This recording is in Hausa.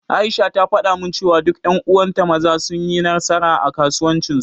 Aisha ta faɗa min cewa duk ƴan uwan ta Maza sun yi nasara, a kasuwancin su.